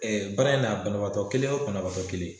Ɛɛ baara in na banabaatɔ kelen o banaatɔ kelen